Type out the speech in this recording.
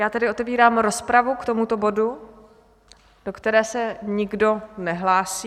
Já tedy otevírám rozpravu k tomuto bodu, do které se nikdo nehlásí.